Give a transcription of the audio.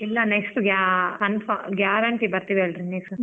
ಇಲ್ಲ next confi~ guarantee ಬರ್ತೀವಿ next .